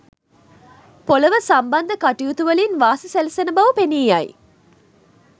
පොළොව සම්බන්ධ කටයුතුවලින් වාසි සැලසෙන බව පෙනී යයි.